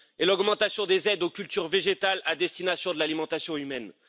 et l'augmentation des aides aux cultures végétales à destination de l'alimentation humaine.